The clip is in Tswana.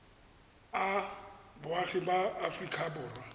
a boagi ba aforika borwa